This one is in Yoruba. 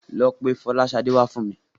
Lọ pe Fọláṣadé wá fún mi.